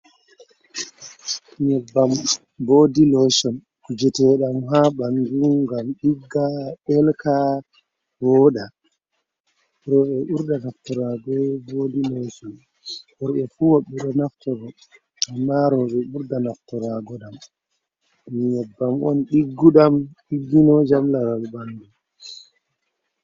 Nyebbam bodi lotion kujetedam ha bandu ngam digga delka voda, robe burda naftarago bodi lotion worɓe fubedo naftora amman roɓe burdi naftiraki be majam nyebbam on diggudam diginojam laral bandu.